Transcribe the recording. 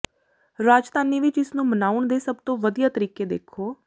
ਰਾਜਧਾਨੀ ਵਿਚ ਇਸ ਨੂੰ ਮਨਾਉਣ ਦੇ ਸਭ ਤੋਂ ਵਧੀਆ ਤਰੀਕੇ ਦੇਖੋ